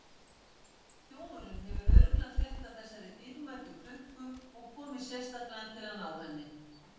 Þjófurinn hefur örugglega frétt af þessari dýrmætu klukku og komið sérstaklega til að ná henni.